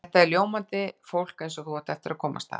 Þetta er ljómandi fólk eins og þú átt eftir að komast að.